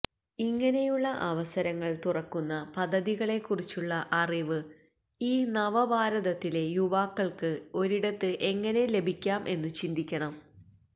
ഇങ്ങനെയുള്ള അവസരങ്ങള് തുറക്കുന്ന പദ്ധതിക്കളെക്കുറിച്ചുള്ള അറിവ് ഈ നവഭാരതത്തിലെ യുവാക്കള്ക്ക് ഒരിടത്ത് എങ്ങനെ ലഭിക്കാം എന്നു ചിന്തിക്കണം